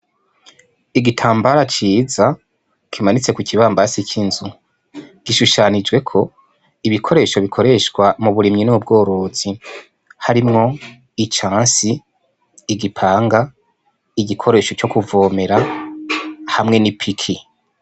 Igitambara ciza kimanitse ku kibambazi c'inzu, gishushanijweko ibikoresho bikoreshwa mu burimyi n'ubworozi harimwo icansi, igipanga, igikoresho co kuvomera hamwe n'ipiki.